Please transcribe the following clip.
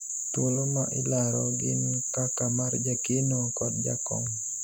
thuolo ma ilaro gin kaka mar jakeno kod jakom